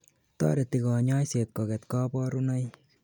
toreti kanyoiset koget kaborunoik